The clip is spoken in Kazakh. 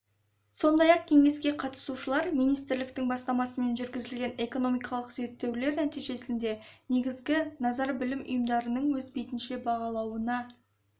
сондай-ақ кеңеске қатысушылар министрліктің бастамасымен жүргізілген экономикалық зерттеулер нәтижесінде негізгі назар білім ұйымдарының өз бетінше бағалауына